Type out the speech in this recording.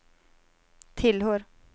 tillhör